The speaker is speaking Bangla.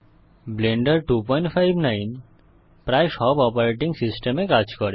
ব্লেন্ডার 259 প্রায় সব অপারেটিং সিস্টেমে কাজ করে